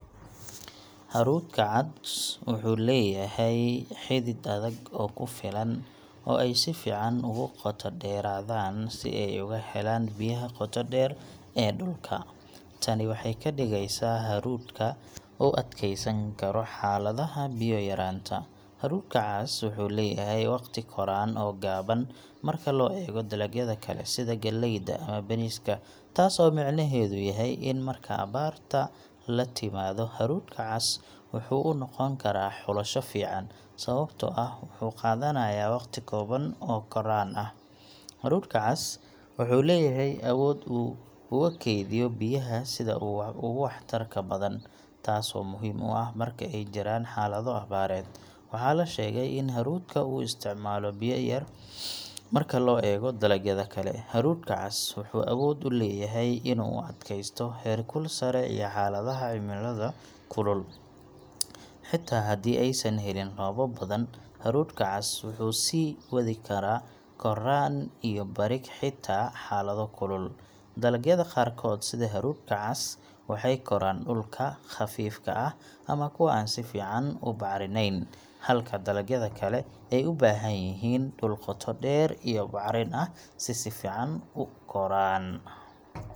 Hadhuudhka cas wuxuu leeyahay xidid adag oo ku filan oo ay si fiican ugu qoto dheeraadaan si ay uga helaan biyaha qoto dheer ee dhulka. Tani waxay ka dhigeysaa in hadhuudhka uu adkeysan karo xaaladaha biyo yar :Hadhuudhka cas wuxuu leeyahay waqtiga koraan oo gaaban marka loo eego dalagyada kale, sida galleyda ama bariiska. Taasoo micnaheedu yahay in marka abaarta timaado, hadhuudhka cas wuxuu u noqon karaa xulasho fiican sababtoo ah wuxuu qaadanayaa waqti kooban oo koraan ah. Hadhuudhka cas wuxuu leeyahay awood uu ugu kaydiyo biyaha sida ugu waxtarka badan, taasoo muhiim u ah marka ay jiraan xaalado abaareed. Waxaa la sheegay in hadhuudhka uu isticmaalo biyo yar marka loo eego dalagyada kale. Hadhuudhka cas wuxuu awood u leeyahay inuu u adkeysto heerkul sare iyo xaaladaha cimilada kulul. Xitaa haddii aysan helin roobab badan, hadhuudhka cas wuxuu sii wadi karaa koraan iyo badhig xitaa xaalado kulul. Dalagyada qaarkood, sida hadhuudhka cas, waxay koraan dhulalka khafiifka ah ama kuwa aan si fiican u bacrinayn, halka dalagyada kale ay u baahan yihiin dhul qoto dheer iyo bacrin ah si ay si fiican u koraan.